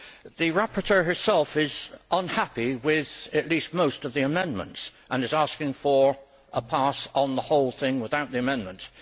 The rapporteur herself is unhappy with at least most of the amendments and is asking for a pass on the whole thing without the amendments.